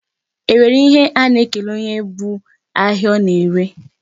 E nwere ihe a na-ekele onye bu ahịa ọ na-ere?